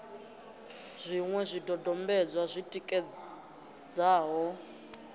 na zwiṅwe zwidodombedzwa zwi tikedzaho